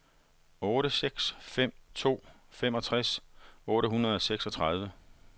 otte seks fem to femogtres otte hundrede og seksogtredive